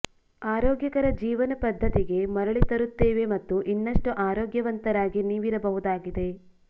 ಆರೋಗ್ಯಕರ ಜೀವನ ಪದ್ಧತಿಗೆ ಮರಳಿ ತರುತ್ತವೆ ಮತ್ತು ಇನ್ನಷ್ಟು ಆರೋಗ್ಯವಂತರಾಗಿ ನೀವಿರಬಹುದಾಗಿದೆ